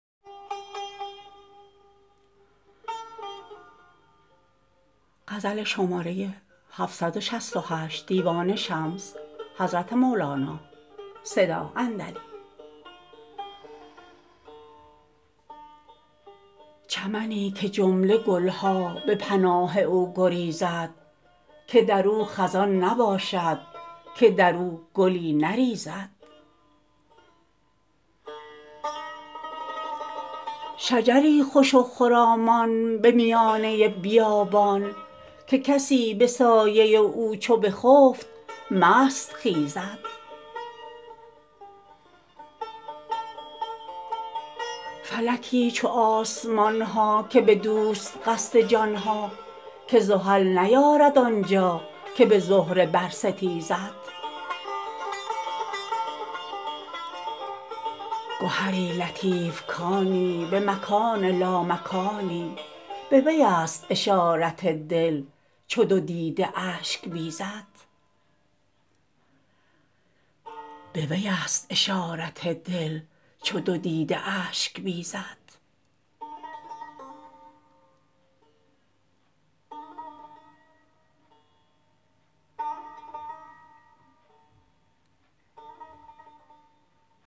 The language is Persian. چمنی که جمله گل ها به پناه او گریزد که در او خزان نباشد که در او گلی نریزد شجری خوش و خرامان به میانه بیابان که کسی به سایه او چو بخفت مست خیزد فلکی چو آسمان ها که بدوست قصد جان ها که زحل نیارد آن جا که به زهره برستیزد گهری لطیف کانی به مکان لامکانی بویست اشارت دل چو دو دیده اشک بیزد